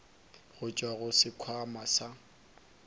go tšwa go sekhwama sa